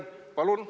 Palun!